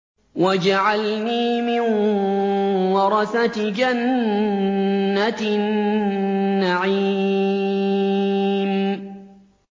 وَاجْعَلْنِي مِن وَرَثَةِ جَنَّةِ النَّعِيمِ